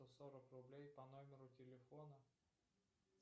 сорок рублей по номеру телефона